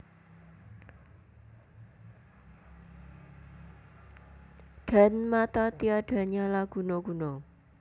Dan mata tiada nyala guna guna